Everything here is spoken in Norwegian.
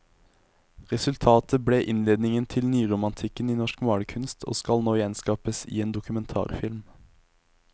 Resultatet ble innledningen til nyromantikken i norsk malerkunst, og skal nå gjenskapes i en dokumentarfilm.